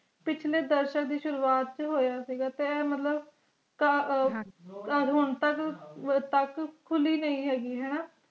ਪਿਛਲੇ ਦਰਸ਼ਨ ਦੀ ਸ਼ੁਰੂਆਤ ਛ ਹੋਇਆ ਸੀਗਾ ਤੇ ਇਹ ਮੁਤਲਿਬ ਹਨ ਜੀ ਤਦ ਤਦ ਹੁਣ ਤਕ ਤਕ ਖੁਲੀ ਨਾਈ ਹੈਗੀ ਹੈ ਨਾ